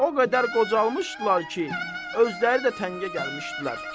O qədər qocalmışdılar ki, özləri də təngə gəlmişdilər.